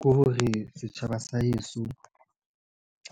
Ke hore, setjhaba sa heso